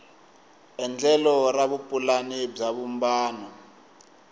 endlelo ra vupulani bya vumbano